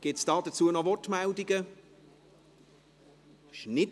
Gibt es noch Wortmeldungen dazu?